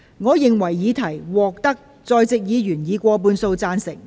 我認為議題獲得在席議員以過半數贊成。